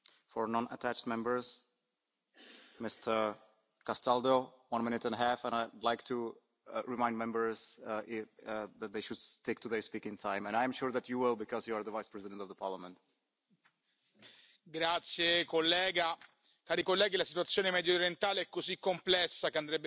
Signor Presidente, onorevoli colleghi, la situazione mediorientale è così complessa che andrebbe forse affrontata in modo più strutturato. Se da un lato è vero che esiste una situazione di crisi diffusa nella Mezzaluna sciita, bisogna ammettere che le specificità dei singoli paesi meriterebbero discussioni separate.